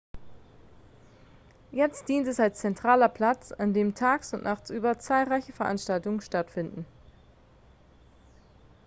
jetzt dient es als zentraler platz an dem tags und nachtsüber zahlreiche veranstaltungen stattfinden